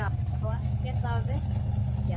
Á ekkert að virkja?